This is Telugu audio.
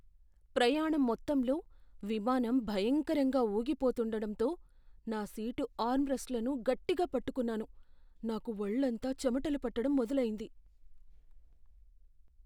ప్రయాణం మొత్తంలో విమానం భయంకరంగా ఊగిపోతూండడంతో నా సీటు ఆర్మ్రెస్ట్లను గట్టిగా పట్టుకున్నాను, నాకు ఒళ్ళంతా చెమటలు పట్టడం మొదలైంది.